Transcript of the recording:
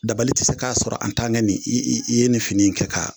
Dabali tɛ se k'a sɔrɔ i ye nin nin fini kɛ ka